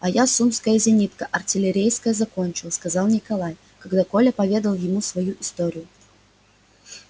а я сумское зенитка артиллерийское закончил сказал николай когда коля поведал ему свою историю